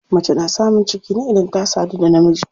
Mace na samun ciki ne idan ta sadu da namiji.